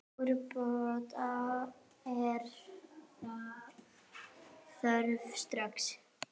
Úrbóta er þörf strax.